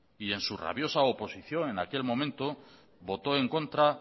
y en su rabiosa oposición en aquel momento votó en contra